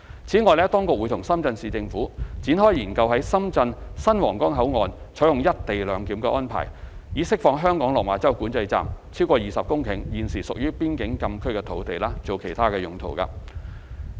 此外，當局會與深圳市政府展開研究在深圳新皇崗口岸採用"一地兩檢"安排，以釋放香港落馬洲管制站超過20公頃現時屬邊境禁區的土地作其他用途。